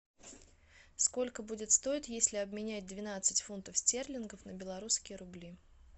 сколько будет стоить если обменять двенадцать фунтов стерлингов на белорусские рубли